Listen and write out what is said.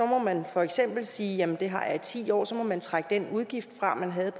må man for eksempel sige at det har jeg i ti år og så må man trække den udgift fra man havde